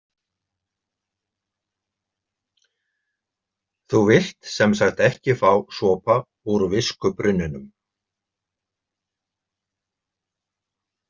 Þú vilt sem sagt ekki fá sopa úr viskubrunninum?